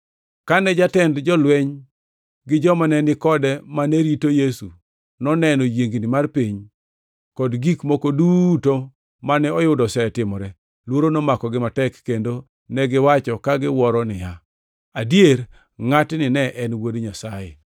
Kane jatend jolweny gi joma ne ni kode mane rito Yesu noneno yiengni mar piny kod gik moko duto mane oyudo osetimore, luoro nomakogi matek, kendo negiwacho ka giwuoro niya, “Adier, ngʼatni ne en Wuod Nyasaye!”